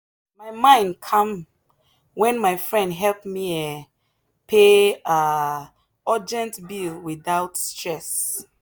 my mind calm when my friend help me um pay um urgent bill without stress.